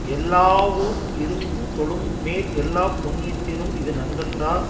எல்லாவுயிருந் தொழும் மேல் எல்லாப்புண்ணியத்திலும் இது நன்றென்றார்